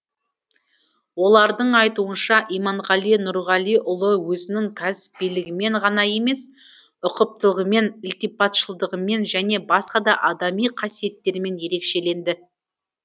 олардың айтуынша иманғали нұрғалиұлы өзінің кәсібилігімен ғана емес ұқыптылығымен ілтипатшылдығымен және басқа да адами қасиеттерімен ерекшеленді